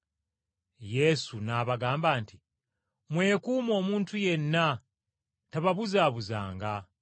Yesu n’abagamba nti, “Mwekuume omuntu yenna tababuzaabuzanga.